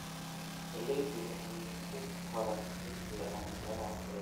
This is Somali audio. Galleydu waxay ku koraan si fiican meelaha kulul.